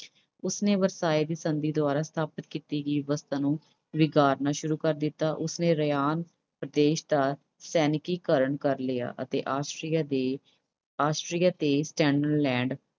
ਉਸਨੇ ਵਰਸਾਏ ਦੀ ਸੰਧੀ ਦੁਆਰਾ ਸਥਾਪਿਤ ਕੀਤੀ ਗਈ ਵਿਵਸਥਾ ਨੂੰ ਨਕਾਰਨਾ ਸ਼ੁਰੂ ਕਰ ਦਿੱਤਾ। ਉਸਨੇ Ryan ਪ੍ਰਦੇਸ਼ ਦਾ ਸੈਨਿਕੀਕਰਨ ਕਰ ਲਿਆ ਅਤੇ Austria ਦੇ Austria ਤੇ Finland